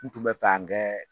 Kun tun bɛ fan kɛ.